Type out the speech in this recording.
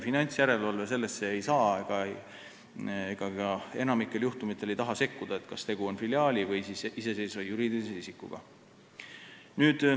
Finantsjärelevalve sellesse, kas tegu on filiaali või iseseisva juriidilise isikuga, ei saa ja enamikul juhtumitel ka ei taha sekkuda.